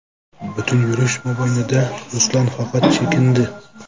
Butun yurish mobaynida ruslar faqat chekindi.